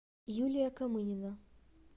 юлия камынина